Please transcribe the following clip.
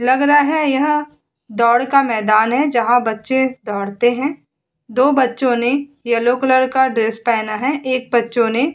लग रहा है यह दौड़ का मैदान है। जहां बच्चे दौड़ते हैं। दो बच्चों ने येल्लो कलर का ड्रेस पहना हैं। एक बच्चों ने --